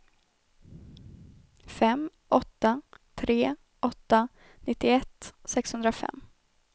fem åtta tre åtta nittioett sexhundrafem